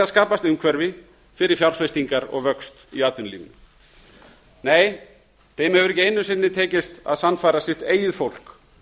skapast umhverfi fyrir fjárfestingar og vöxt í atvinnulífinu nei þeim hefur ekki einu sinni tekist að sannfæra sitt eigið fólk